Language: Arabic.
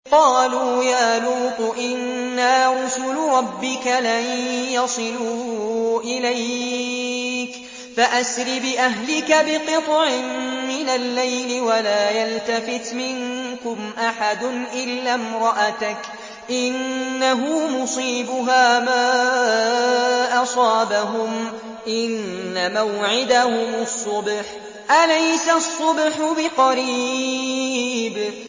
قَالُوا يَا لُوطُ إِنَّا رُسُلُ رَبِّكَ لَن يَصِلُوا إِلَيْكَ ۖ فَأَسْرِ بِأَهْلِكَ بِقِطْعٍ مِّنَ اللَّيْلِ وَلَا يَلْتَفِتْ مِنكُمْ أَحَدٌ إِلَّا امْرَأَتَكَ ۖ إِنَّهُ مُصِيبُهَا مَا أَصَابَهُمْ ۚ إِنَّ مَوْعِدَهُمُ الصُّبْحُ ۚ أَلَيْسَ الصُّبْحُ بِقَرِيبٍ